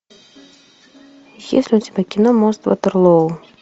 есть ли у тебя кино мост ватерлоо